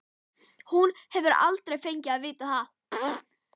Hún hefur aldrei fengið að vita það.